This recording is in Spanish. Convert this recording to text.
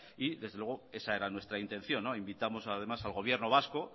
y desde luego esa era nuestra intención invitamos además al gobierno vasco